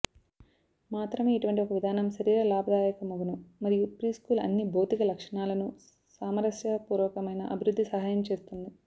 మాత్రమే ఇటువంటి ఒక విధానం శరీర లాభదాయకమగును మరియు ప్రీస్కూల్ అన్ని భౌతిక లక్షణాలను సామరస్యపూర్వకమైన అభివృద్ధి సహాయం చేస్తుంది